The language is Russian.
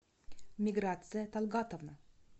миграция талгатовна